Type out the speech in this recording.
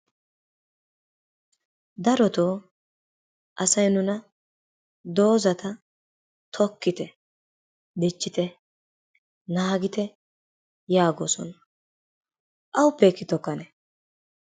Darottoo asay nuna doozata tokkitte, dichchite, naagitte, yaagoosona. awuppe ekki tokkanne?